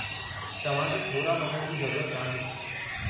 तव्हां खे थोरा मञण जी ज़रूरत नाहे।